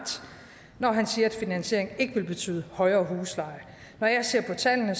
når han siger at finansieringen ikke vil betyde højere huslejer når jeg ser på tallene